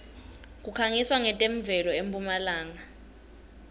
kukhanqiswa nqetemuelo empumlanga